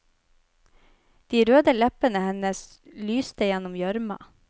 De røde leppene hennes lystegjennom gjørma.